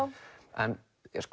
en